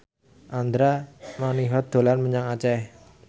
Andra Manihot dolan menyang Aceh